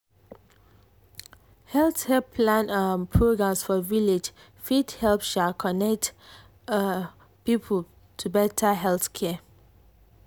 health help plan um programs for village fit help um connect um people to better health care.